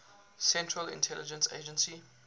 central intelligence agency